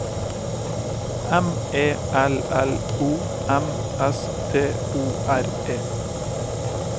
M E L L O M S T O R E